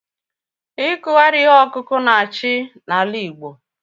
Ikughari ihe ọkụkụ na-achị n'ala Igbo